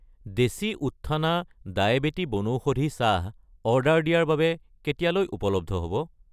দেশী উত্থানা ডায়েবেটি বনৌষধি চাহ অৰ্ডাৰ দিয়াৰ বাবে কেতিয়ালৈ উপলব্ধ হ'ব?